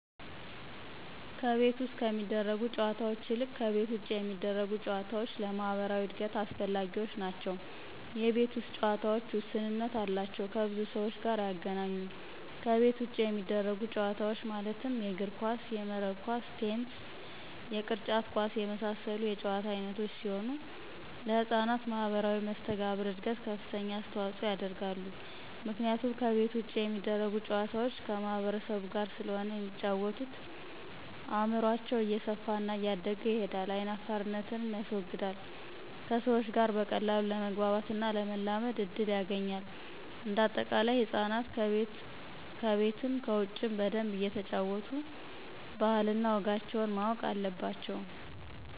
ከቤት ውስጥ ከሚደረጉ ጨዎታዎች ይልቅ ከቤት ውጭ የሚደረጉ ጨዎታዎች ለማህበራዊ እድገት አስፈላጊዎች ናቸው የቤት ውስጥ ጨዎታዎች ውስንነት አላቸው ከብዙ ሰዎች ጋር አያገናኙም ከቤት ውጭ የሚደረጉት ጨዎታዎች ማለትም የእግር ኳስ :የመረብ ኳስ :ቴንስ የቅርጫት ኳስ የመሳሰሉት የጨዎታ አይነቶች ሲሆኑ ለህጻናት ማህበራዊ መሰተጋብር እድገት ከፍተኛ አስተዋጽኦ ያደርጋሉ ምክንያቱም ከቤት ውጭ የሚደረጉ ጨዋታዎች ከማህበረሰቡ ጋር ስለሆነ የሚጫወተው አእምሮው እየሰፋና እያደገ ይሄዳል አይናፋርነትንም ያስወግዳል ከሰዎች ጋር በቀላሉ ለመግባባትና ለመላመድ እድል ያገኛል። እንደ አጠቃላይ ህፃናት ከቤትም ከውጭም በደንብ እየተጫወቱ ባህል እነ ወጋቸውን ማወቅ አለባቸው